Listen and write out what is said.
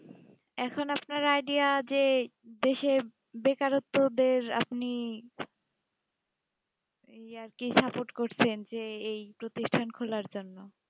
এখন আপনার idea যে দেশে বেকারোক্ত দের আপনি আর কি support কছেন যে এই প্রতিষ্টান খোলা জন্য